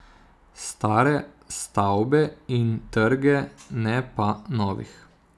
Stare stavbe in trge, ne pa novih.